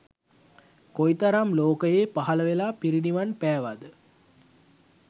කොයිතරම් ලෝකයේ පහළ වෙලා පිරිනිවන් පෑවාද?